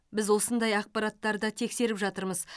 біз осындай ақпараттарды тексеріп жатырмыз